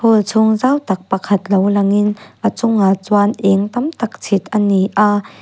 hall chhung zau tak pakhat lo langin a chungah chuan eng tam tak chhit a ni a.